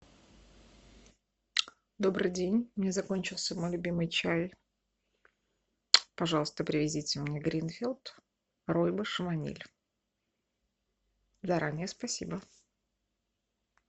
добрый день у меня закончился мой любимый чай пожалуйста привезите мне гринфилд ройбуш ваниль заранее спасибо